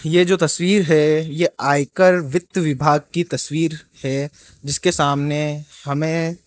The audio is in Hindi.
ये जो तस्वीर है ये आयकर वित्त विभाग की तस्वीर है जिसके सामने हमें --